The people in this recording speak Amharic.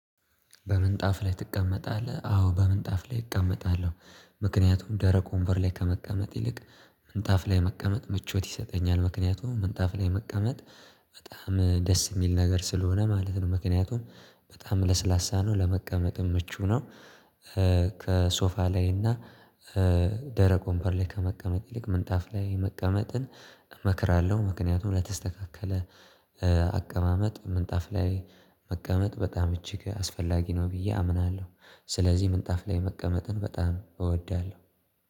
በምንጣፍ ላይ ትቀመጣለህ? አዎ በምንጣፍ ላይ እቀመጣለሁ ምክንያቱም ደረቅ ወንበር ላይ ከመቀመጥ ይልቅ ምንጣፍ ላይ መቀመጥ ምቾት ይሰጠኛል ምክንያቱም ምንጣፍ ላይ መቀመጥ በጣም ደስ የሚል ነገር ስለሆነ ማለት ነው ምክንያቱም በጣም ለስላሳ ነው ለመቀመጥም ምቹ ነው። ከሶፋ ላይ እና ደረቅ ወንበር ላይ ከመቀመጥ ይልቅ ምንጣፍ ላይ መቀመጥን እመክራለሁ። ምክንያቱም ለተስተካከለ አቀማመጥ ምንጣፍ ላይ መቀመጥ በጣም እጅግ አስፈላጊ ነው ብዬ አምናለሁ። ስለዚህ ምንጣፍ ላይ መቀመጥን በጣም እወዳለሁ።